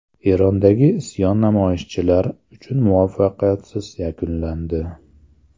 Erondagi isyon namoyishchilar uchun muvaffaqiyatsiz yakunlandi.